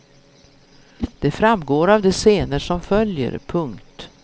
Det framgår av de scener som följer. punkt